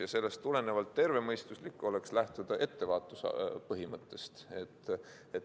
Ja sellest tulenevalt tervemõistuslik oleks lähtuda ettevaatuspõhimõttest.